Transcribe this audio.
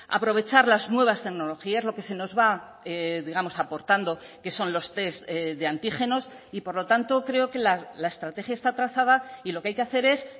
aprovechar las nuevas tecnologías lo que se nos va digamos aportando que son los test de antígenos y por lo tanto creo que la estrategia está trazada y lo que hay que hacer es